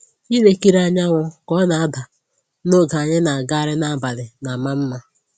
Ilekiri anyanwụ ka ọ na-ada n'oge anyị na-agagharị n'abalị na-ama mma